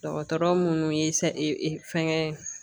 Dɔgɔtɔrɔ munnu ye e fɛngɛ